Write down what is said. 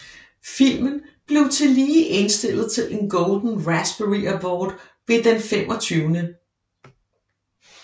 Filmen blev tillige indstillet til en Golden Raspberry Award ved den Den 25